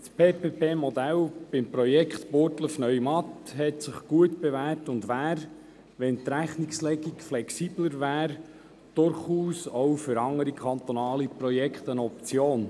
Das PPP-Modell beim Projekt Burgdorf/Neumatt hat sich gut bewährt und wäre, wenn die Rechnungslegung flexibler wäre, durchaus auch für andere kantonale Projekte eine Option.